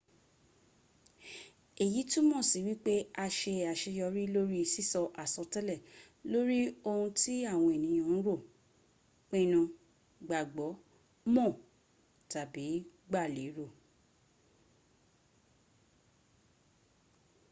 eyi tumọ si wipe a ṣe aṣeyọri lori sisọ asọtẹlẹ lori ohun ti awọn eniyan n ro pinnu gbagbọ mọ tabi gba lero